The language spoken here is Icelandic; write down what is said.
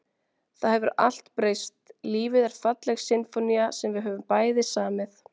Það hefur allt breyst, lífið er falleg sinfónía sem við höfum bæði samið.